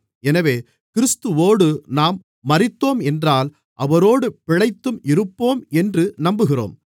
எனவே கிறிஸ்துவோடு நாம் மரித்தோம் என்றால் அவரோடு பிழைத்தும் இருப்போம் என்று நம்புகிறோம்